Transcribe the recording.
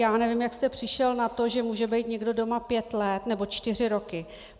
Já nevím, jak jste přišel na to, že může být někdo doma pět let nebo čtyři roky.